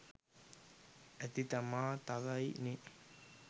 ඇති තමා තව යි නෙ